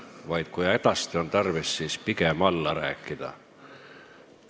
Kui just hädasti tarvis, siis võiks pigem alla rääkida.